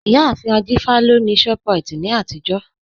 Iyàáfin Ajífà lọ ni Shoprite ni àtijọ̀